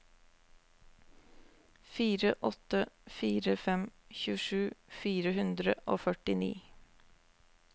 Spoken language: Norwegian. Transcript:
fire åtte fire fem tjuesju fire hundre og førtini